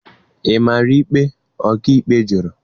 Ị mara ikpe, ọkàikpe jụrụ